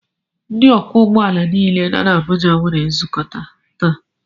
Ndị ọkwọ ụgbọala nile nọ na Abuja nwere nzukọ taa